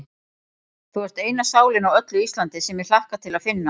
Þú ert eina sálin á öllu Íslandi, sem ég hlakka til að finna.